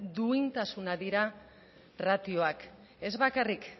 duintasuna dira ratioak ez bakarrik